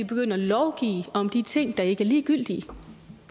begynde at lovgive om de ting der ikke er ligegyldige